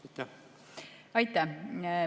Aitäh!